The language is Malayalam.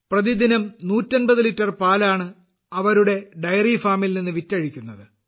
പ്രതിദിനം 150 ലിറ്റർ പാലാണ് അവരുടെ ഡയറി ഫാമിൽ നിന്ന് വിറ്റഴിക്കുന്നത്